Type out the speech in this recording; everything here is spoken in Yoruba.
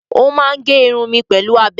Ó máa ń gé irun mi pẹ̀lú abẹ.